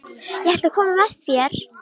Ég ætla að koma með þér!